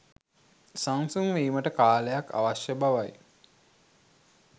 සංසුන් වීමට කාලයක් අවශ්‍ය බවයි